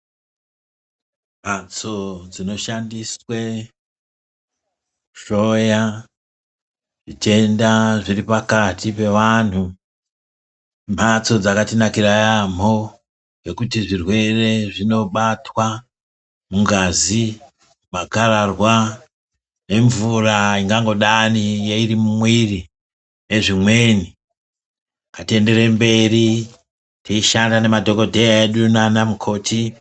Mbatso dzinoshandiswe kuhloya zvitenda zviri pakati pevantu, mbatso dzakatinakira yamho, ngekuti zvirwere zvinobatwa mungazi, makararwa nemvura ingangodani iri mumwiri nezvimweni, ngatienderere mberi teyishanda nemadhokodheya edu nana mukoti.